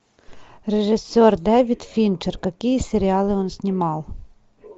режиссер дэвид финчер какие сериалы он снимал